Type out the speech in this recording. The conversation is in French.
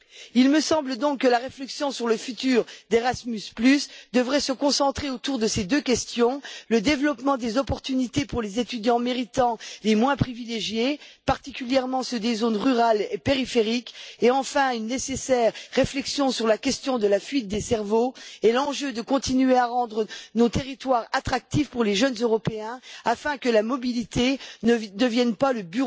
Il me semble donc que la réflexion sur le futur d'Erasmus devrait se concentrer autour de ces deux questions le développement des opportunités pour les étudiants méritants les moins privilégiés, particulièrement ceux des zones rurales et périphériques, et enfin une nécessaire réflexion sur la question de la fuite des cerveaux et l'enjeu de continuer à rendre nos territoires attractifs pour les jeunes Européens afin que la mobilité ne devienne pas le